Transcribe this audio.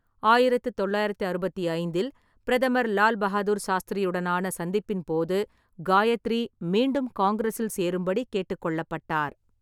ஆயிரத்து தொள்ளாயிரத்து அறுபத்தி ஐந்தில், பிரதமர் லால் பகதூர் சாஸ்திரியுடனான சந்திப்பின் போது, ​​காயத்ரி மீண்டும் காங்கிரஸில் சேரும்படி கேட்டுக்கொள்ளப்பட்டார்.